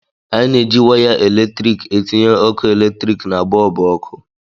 Anyị na-eji waya eletrik etinye ọkụ eletrik na bọlbụ ọkụ